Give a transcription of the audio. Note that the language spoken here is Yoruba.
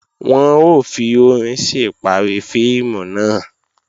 Wọ́n ó fi orin sí ìparí fíìmù náà